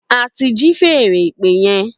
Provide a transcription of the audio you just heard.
A ti ji fèèrè ìpè yẹn